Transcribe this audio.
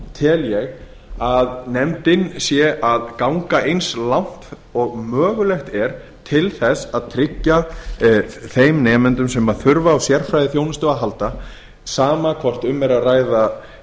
tel eg að nefndin skapa ganga eins lagt og mögulegt er til eins að tryggja þeim nemendum sem þurfa á sérfræðiþjónustu að halda sama hvort um er að ræða